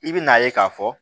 I bi n'a ye k'a fɔ